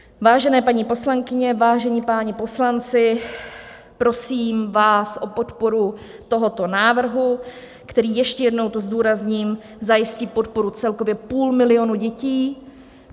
Vážené paní poslankyně, vážení páni poslanci, prosím vás o podporu tohoto návrhu, který - ještě jednou to zdůrazním - zajistí podporu celkově půl milionu dětí.